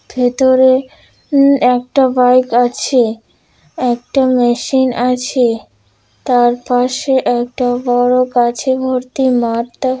ভেতরে উম একটা বাইক আছে | একটা মেশিন আছে তার পাশে একটা বড় গাছে ভর্তি মাঠ দেখাচ্ছে |